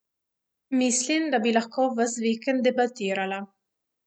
Mislim, da bi lahko ves vikend debatirala.